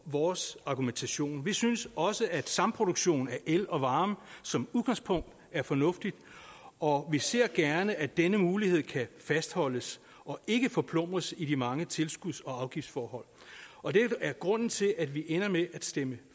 vores argumentation vi synes også at samproduktion af el og varme som udgangspunkt er fornuftigt og vi ser gerne at denne mulighed kan fastholdes og ikke forplumres af de mange tilskuds og afgiftsforhold og det er grunden til at vi ender med at stemme